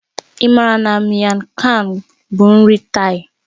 Ị maara na Miang kham bụ nri Thai?